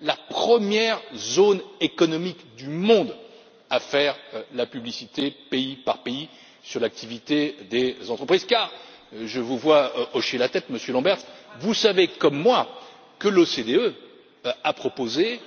la première zone économique du monde à faire la lumière pays par pays sur l'activité des entreprises car, je vous vois hocher la tête, Monsieur Lamberts, vous savez comme moi que l'OCDE a proposé